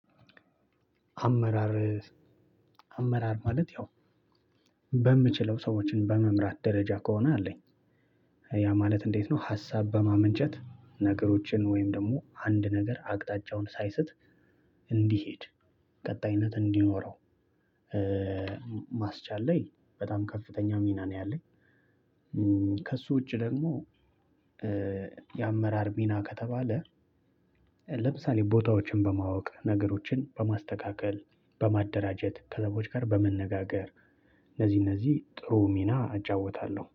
አመራር ማለት ያው በምችለው ሰዎችን በመምራት ደረጃ ከሆነ አለኝ። ያ ማለት እንዴት? ነው ሀሳብ በማመንጨት ነገሮችን ወይም ደግሞ አንድ ነገር አቅጣጫውን ሳይስት። እንዲሄድ ቀጣይነት እንዲኖረው። ማስቻል ላይ በጣም ከፍተኛ ሚና ነው ያለኝ። ከእሱ ውጪ ደግሞ። የአመራር ሚና ከተባለ ለምሳሌ ቦታዎችን በማወቅ ነገሮችን በማስተካከል በማደራጀት ከሌቦች ጋር በመነጋገር። እነዚህ እነዚህ ጥሩ ሚና አጫወታለሁ